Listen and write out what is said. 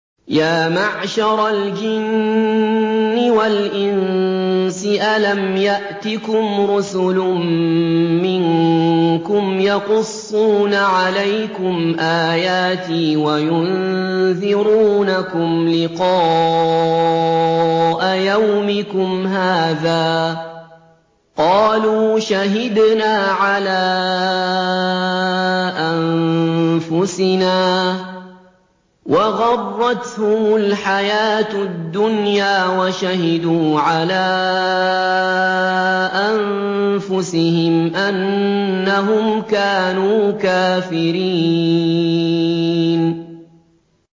يَا مَعْشَرَ الْجِنِّ وَالْإِنسِ أَلَمْ يَأْتِكُمْ رُسُلٌ مِّنكُمْ يَقُصُّونَ عَلَيْكُمْ آيَاتِي وَيُنذِرُونَكُمْ لِقَاءَ يَوْمِكُمْ هَٰذَا ۚ قَالُوا شَهِدْنَا عَلَىٰ أَنفُسِنَا ۖ وَغَرَّتْهُمُ الْحَيَاةُ الدُّنْيَا وَشَهِدُوا عَلَىٰ أَنفُسِهِمْ أَنَّهُمْ كَانُوا كَافِرِينَ